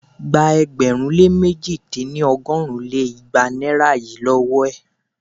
Gba ẹgbẹ̀rún lé mẹ̀ji dín ní- ọgọ́rùn lé igba naira yìí lówó è!